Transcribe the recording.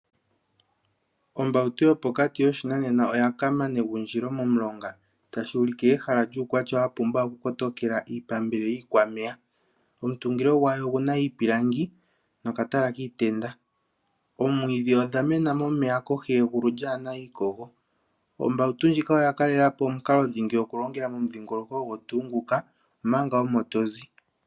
Ombautu yopokati yoshinanena oya kaama negundjilo momulonga. Tashi ulike ehala lyuukwatya wa pumba okukotokela iipambele yiikwameya. Omutungilo gwayo ogu na iipilangi nokatala kiitenda. Oomwiidhi odha mena momeya kohi yegulu lyaa na iikogo. Ombautu ndjika oya kalela po omukalo dhingi okulongela momudhingoloko ogo tuu nguka, omanga omo to zi.